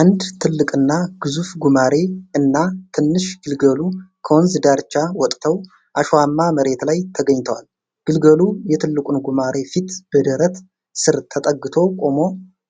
አንድ ትልቅና ግዙፍ ጉማሬ እና ትንሽ ግልገሉ ከወንዝ ዳርቻ ወጥተው አሸዋማ መሬት ላይ ተገኝተዋል። ግልገሉ የትልቁን ጉማሬ ፊት በደረት ስር ተጠግቶ ቆሞ፣